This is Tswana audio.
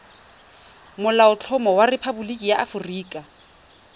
molaotlhomo wa rephaboliki ya aforika